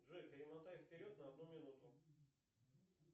джой перемотай вперед на одну минуту